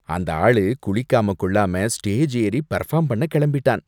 அந்த ஆளு குளிக்காம கொள்ளாம ஸ்டேஜ் ஏறி பெர்ஃபார்ம் பண்ண கிளம்பிட்டான்.